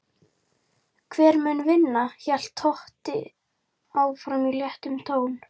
Hver mun vinna? hélt Totti áfram í léttum tón.